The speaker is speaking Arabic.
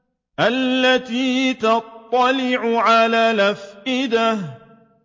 الَّتِي تَطَّلِعُ عَلَى الْأَفْئِدَةِ